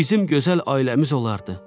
Bizim gözəl ailəmiz olardı.